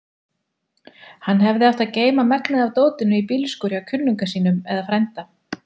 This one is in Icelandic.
Hann hefði átt að geyma megnið af dótinu í bílskúr hjá kunningja sínum eða frænda.